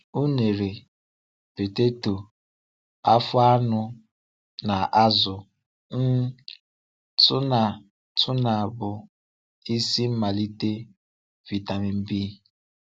Ùnèrè, poteto, àfọ̀ anụ, na azụ um túnà túnà bụ́ isi mmalite vitamin B.